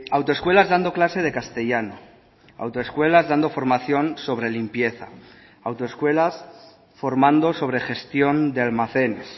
autoescuelas dando clase de castellano autoescuelas dando formación sobre limpieza autoescuelas formando sobre gestión de almacenes